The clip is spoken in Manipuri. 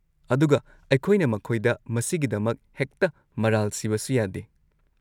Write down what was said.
ꯑꯗꯨꯒ ꯑꯩꯈꯣꯏꯅ ꯃꯈꯣꯏꯗ ꯃꯁꯤꯒꯤꯗꯃꯛ ꯍꯦꯛꯇ ꯃꯔꯥꯜ ꯁꯤꯕꯁꯨ ꯌꯥꯗꯦ꯫